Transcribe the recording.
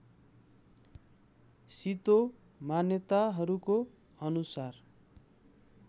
शितो मान्यताहरूको अनुसार